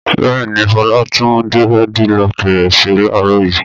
Bẹ́ẹ̀ ni, Fọlá tún dẹ́rẹ́dilọkì rẹ̀ ṣe láàárọ̀ yìí.